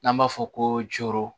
N'an b'a fɔ ko coro